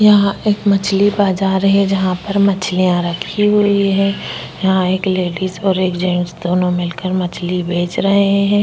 यहा एक मछली बाजार है जहा पर मछलिया रखी हुई है यहा एक लेडिस और एक जेंट्स दोनो मिलकर मछली बेच रहे है।